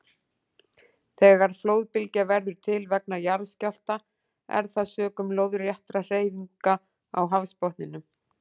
Þegar flóðbylgja verður til vegna jarðskjálfta er það sökum lóðréttra hreyfinga á hafsbotninum.